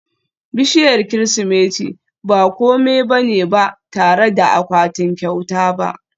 bishiyar Kirsimeti ba kome ba ne ba tare da akwatunan kyauta ba